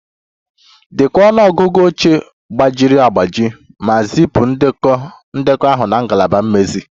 Dekọọ ọnụ ọgụgụ oche gbajiri agbaji ma zipụ ndekọ ahụ na ngalaba mmezi